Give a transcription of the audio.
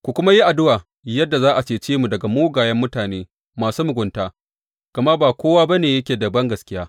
Ku kuma yi addu’a yadda za a cece mu daga mugayen mutane masu mugunta, gama ba kowa ba ne yake da bangaskiya.